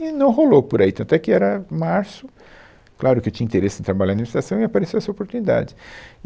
E não rolou por aí, tanto é que era março, claro que eu tinha interesse em trabalhar na administração, e apareceu essa oportunidade.